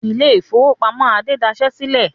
Ilé-ìfowópamọ́sí Adé dasẹ́ sílẹ̀.